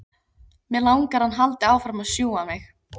Mig langar að hann haldi áfram að sjúga mig.